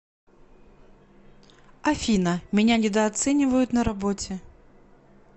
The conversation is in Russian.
афина меня недооценивают на работе